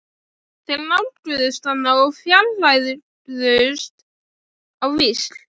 Þeir nálguðust hann og fjarlægðust á víxl.